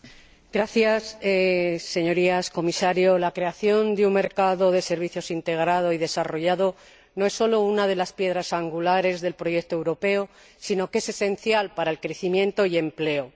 Señora Presidenta, Señorías, señor Comisario, la creación de un mercado de servicios integrado y desarrollado no es solo una de las piedras angulares del proyecto europeo, sino que es esencial para el crecimiento y el empleo.